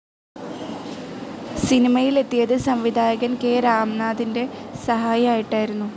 സിനിമയിൽ എത്തിയത് സംവിധായകൻ കെ രാംനാഥിൻ്റെ സഹായി ആയിട്ടായിരുന്നു.